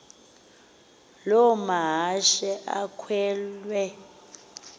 loo mahashe akhwele